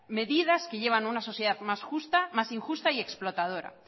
medidas que llevan a una sociedad más justa más injusta y explotadora